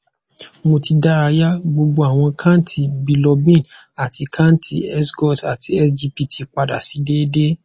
mo ti daraya gbogbo awọn kanti bilurbin ati kanti sgot ati sgpt pada si deede